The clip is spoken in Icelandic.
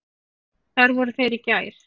Þar voru þeir í gær.